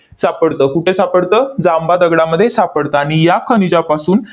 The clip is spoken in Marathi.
सापडतं. कुठे सापडतं? जांबा दगडामध्ये सापडतं. आणि या खनिजापासून